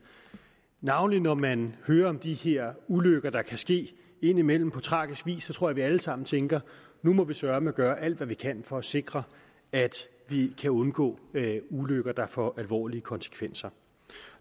navnlig når man hører om de her ulykker der kan ske indimellem på tragisk vis så tror jeg at vi alle sammen tænker nu må vi søreme gøre alt hvad vi kan for at sikre at vi kan undgå ulykker der får alvorlige konsekvenser